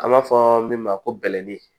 An b'a fɔ min ma ko bɛlɛnin